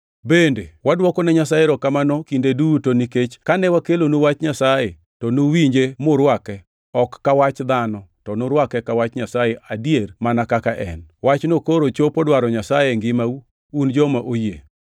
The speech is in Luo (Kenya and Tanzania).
Bende wadwokone Nyasaye erokamano kinde duto nikech kane wakelonu Wach Nyasaye, to nuwinje murwake, ok ka wach dhano, to nurwake ka Wach Nyasaye adier mana kaka en. Wachno koro chopo dwaro Nyasaye e ngimau, un joma oyie.